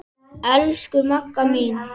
Elsku Magga mín.